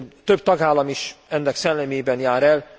Több tagállam is ennek szellemében jár el.